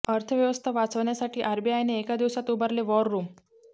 अर्थव्यवस्था वाचवण्यासाठी आरबीआयने एका दिवसात उभारले वॉर रुम